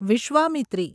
Vishwamitri